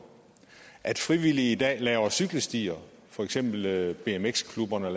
at frivillige i dag laver cykelstier for eksempel laver bmx klubberne